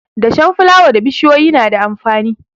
Dashen fulawa da bishiyoyi na da amfani.